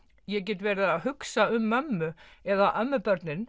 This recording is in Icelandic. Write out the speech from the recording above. ég get verið að hugsa um mömmu eða